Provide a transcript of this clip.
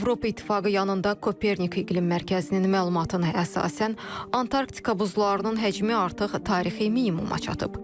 Avropa İttifaqı yanında Kopernik İqlim Mərkəzinin məlumatına əsasən, Antarktika buzlarının həcmi artıq tarixi minimuma çatıb.